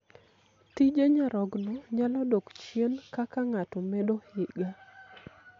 Tije nyarogno nyalo dok chien kaka ng'ato medo higa.